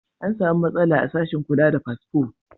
An samu matsala a sashen kula da fasfo.